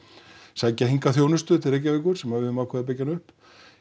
sækja hingað þjónustu til Reykjavíkur sem við höfum ákveðið að byggja upp